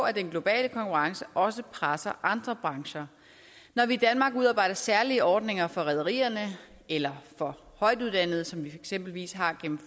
at den globale konkurrence også presser andre brancher når vi i danmark udarbejder særlige ordninger for rederierne eller for højtuddannede som vi eksempelvis har gennem